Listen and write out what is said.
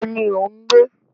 Níbo ni o ń gbé?